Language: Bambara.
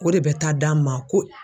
O de bɛ taa d'a ma ko